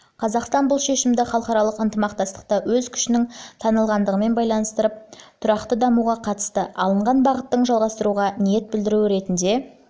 қазақстан бұл шешімді халықаралық ынтымақтастықта өз күшінің танылғандығымен байланыстырып тұрақты дамуға қатысты алынған бағыттың жалғастыруға ниет білдіруі ретінде